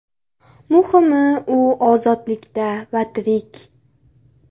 Muhimi u ozodlikda va tirik.